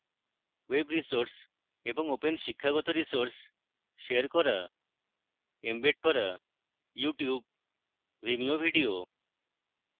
web resources এবং খোলা শিক্ষাগত resources শেয়ার করা